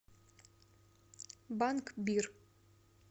банк бир